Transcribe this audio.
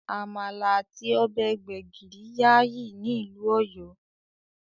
Àmàlà àti ọbẹ̀ gbẹ́gìrì gbayyi ni ìlú Ọ̀yọ́